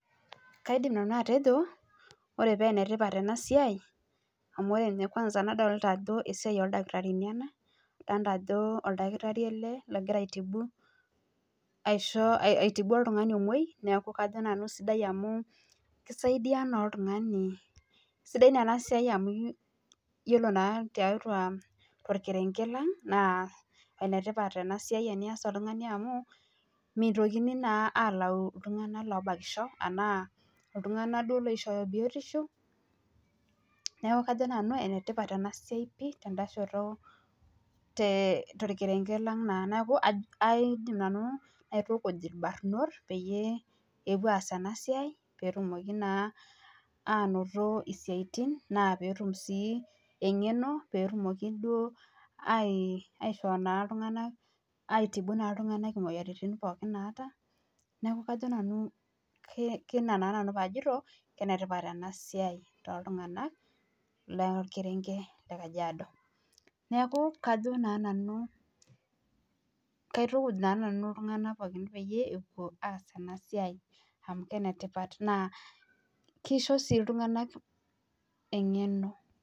Kaidim nanu atejo ore paa enetipat ena siai amu ore ninye kwanza nadolita Ajo esiai oo ldakitarini ena edolita Ajo oldakitarii ele loogira aitibu oltung'ani omuoi esidai naa enasiai amu ore naa too kerenket lang naa enetipat ena siai enias oltung'ani amu mitokini alau iltung'ana obakisho ashu eloishooyo biotisho neeku kajo Nanu enetipat enasiai pii too kerenket lang naa aidim naituku irbarnot pee epuo aas ena siai petumoki naa anoto esiatin naa petum sii eng'eno petumoki aitibu iltung'ana moyiaritin pookin nataa neeku kajo enetipat ena siai too iltung'ana ll kerenket lee KAJIADO neeku kajo Nanu kaitukuj iltung'ana pee epuo aas ena siai amu enetipat naa kisho sii iltung'ana eng'eno